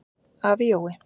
Afi Jói.